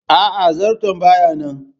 Aa, zarton baya nan